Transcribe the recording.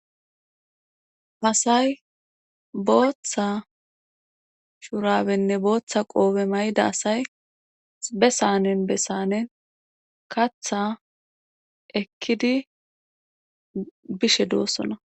asay booththa shurabenne booththa qoobe may7da asay be sanen bessanen katha ekkidi bishe doossona